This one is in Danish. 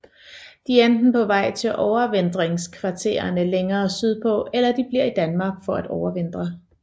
De er enten på vej til overvintringskvartererne længere sydpå eller de bliver i Danmark for at overvintre